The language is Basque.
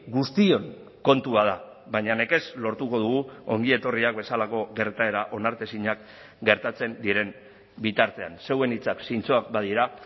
guztion kontua da baina nekez lortuko dugu ongietorriak bezalako gertaera onartezinak gertatzen diren bitartean zeuen hitzak zintzoak badira